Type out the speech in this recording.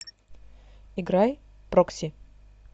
играй прокси